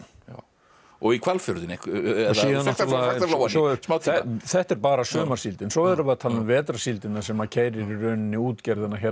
og í Hvalfjörðinn þetta er bara sumarsíldin svo erum við að tala um vetrarsíldina sem að keyrir í rauninni útgerðina